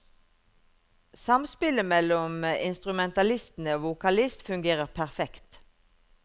Samspillet mellom instrumentalistene og vokalist fungerer perfekt.